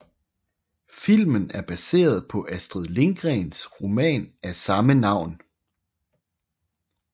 Filmen er baseret på Astrid Lindgrens roman af samme navn